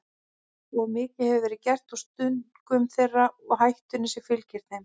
Of mikið hefur verið gert úr stungum þeirra og hættunni sem fylgir þeim.